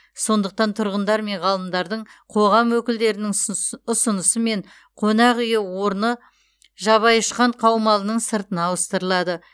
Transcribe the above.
сондықтан тұрғындар мен ғалымдардың қоғам өкілдерінің ұсынысымен қонақ үй орны жабайұшқан қаумалының сыртына ауыстырылады